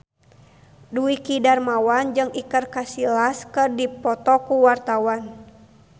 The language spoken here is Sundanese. Dwiki Darmawan jeung Iker Casillas keur dipoto ku wartawan